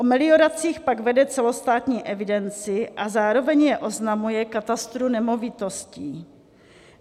O melioracích pak vede celostátní evidenci a zároveň je oznamuje katastru nemovitostí.